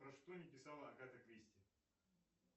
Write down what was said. про что не писала агата кристи